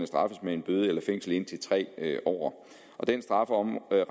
straffes med bøde eller fængsel i indtil tre år den strafferamme blev